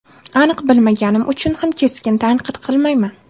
Aniq bilmaganim uchun ham keskin tanqid qilmayman.